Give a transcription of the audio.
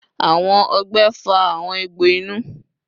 Awọn ọgbẹ fa awọn egbo inu